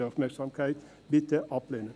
Bitte ablehnen!